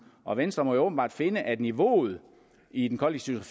og venstre må jo åbenbart finde at niveauet i den kollektive